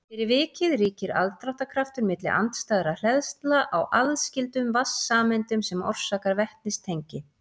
fyrir vikið ríkir aðdráttarkraftur milli andstæðra hleðslna á aðskildum vatnssameindum sem orsakar vetnistengi